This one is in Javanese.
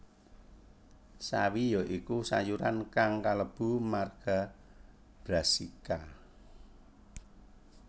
Sawi ya iku sayuran kang kalebu marga Brassica